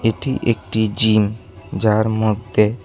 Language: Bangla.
এটি একটি জিম যার মধ্যে--